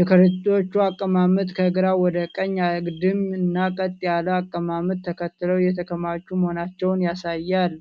የከረጢቶቹ አቀማመጥ ከግራ ወደ ቀኝ አግድም እና ቀጥ ያለ አቀማመጥ ተከትለው የተከማቹ መሆናቸውን ያሳያል።